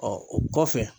o kɔfɛ